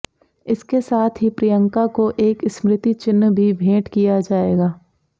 इसके साथ ही प्रियंका को एक स्मृति चिन्ह भी भेंट किया जाएगा